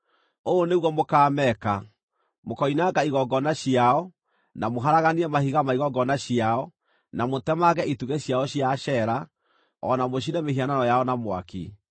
Ũũ nĩguo mũkaameeka: Mũkoinanga igongona ciao, na mũharaganie mahiga ma igongona ciao, na mũtemange itugĩ ciao cia Ashera, o na mũcine mĩhianano yao na mwaki.